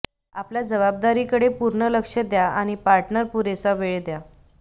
आपल्या जबाबदारीकडे पूर्ण लक्ष द्या आणि पार्टनर पुरेसा वेळ द्या